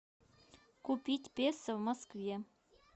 купить песо в москве